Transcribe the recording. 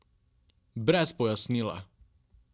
Brez pojasnila!